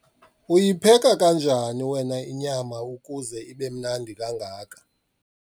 uyipheka kanjani wena inyama ukuze ibe mnandi kangaka?